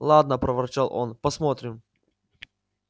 ладно проворчал он посмотрим